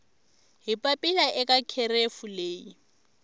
hi papila eka kherefu leyi